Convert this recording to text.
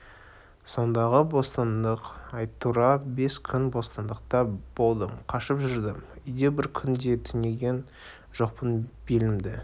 сондағы бостандық-ай тура бес күн бостандықта болдым қашып жүрдім үйде бір күн де түнеген жоқпын белімді